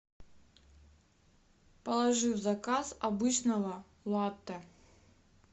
положи в заказ обычного латте